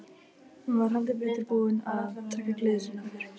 Hún var heldur betur búin að taka gleði sína aftur.